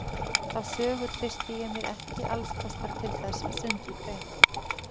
Þá sögu treysti ég mér ekki alls kostar til þess að sundurgreina.